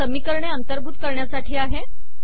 हा समीकरणे अंतर्भूत करण्यासाठी आहे